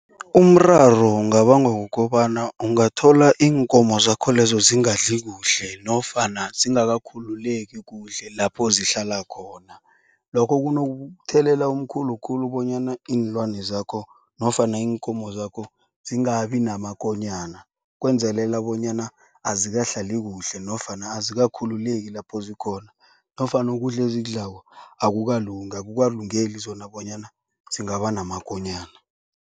Umraro ungabangwa kukobana ungathola iinkomo zakho lezo zingadli kuhle nofana zingakakhululeki kuhle lapho zihlala khona. Lokho kunokumthelela omkhulu khulu bonyana iinlwana zakho nofana iinkomo zakho zingabi namakonyana. Kwenzelela bonyana azikahlali kuhle nofana azikakhululeki lapho zikhona nofana ukudla ezikudlako akukalungi akukalungeli zona bonyana zingaba namakonyana.